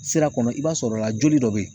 Sira kɔnɔ i b'a sɔrɔ la joli dɔ be yen